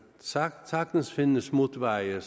sagtens findes smutveje